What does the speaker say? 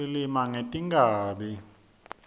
silima ngetinkhabi